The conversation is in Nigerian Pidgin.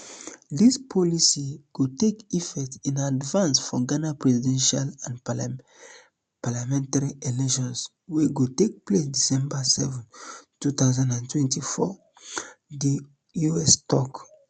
dis policy go take effect in advance for ghana presidential and parliamentary elections wey go take place december seven two thousand and twenty-four di us tok